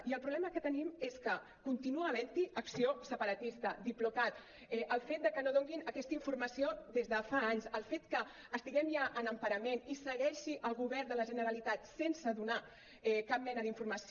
i el problema que tenim és que continua havent hi acció separatista diplocat el fet que no donin aquesta informació des de fa anys el fet que estiguem ja en emparament i segueixi el govern de la generalitat sense donar cap mena d’informació